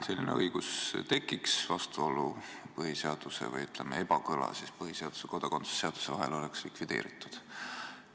Selline õigus tekiks ja ebakõla põhiseaduse ja kodakondsuse seaduse vahel oleks likvideeritud.